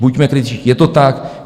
Buďme kritičtí, je to tak.